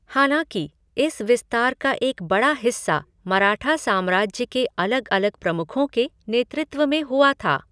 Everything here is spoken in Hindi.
हालाँकि, इस विस्तार का एक बड़ा हिस्सा मराठा साम्राज्य के अलग अलग प्रमुखों के नेतृत्व में हुआ था।